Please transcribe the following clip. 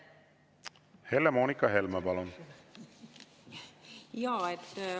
Helle-Moonika Helme, palun!